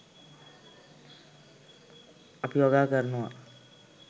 අපි වගා කරනවා